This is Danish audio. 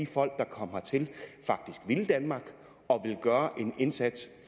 folk der kom hertil faktisk ville danmark og ville gøre en indsats